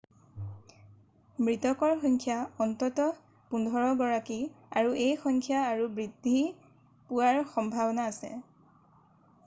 মৃতকৰ সংখ্যা অন্ততঃ 15 গৰাকী এই সংখ্যা আৰু বৃদ্ধি পোৱাৰ সম্ভাৱনা আছে